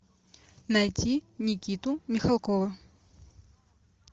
найти никиту михалкова